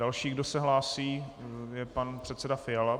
Další, kdo se hlásí, je pan předseda Fiala.